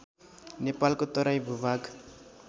नेपालको तराई भूभाग